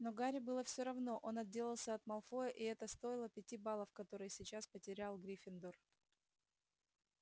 но гарри было всё равно он отделался от малфоя и это стоило пяти баллов которые сейчас потерял гриффиндор